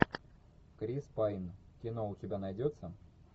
крис пайн кино у тебя найдется